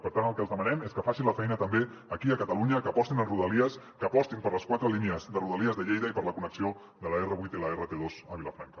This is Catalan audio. per tant el que els demanem és que facin la feina també aquí a catalunya que apostin en rodalies que apostin per les quatre línies de rodalies de lleida i per la connexió de l’r8 i l’rt2 a vilafranca